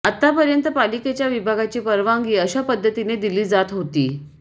आतापर्यंत पालिकेच्या विभागाची परवानगी अशा पद्धतीने दिली जात होता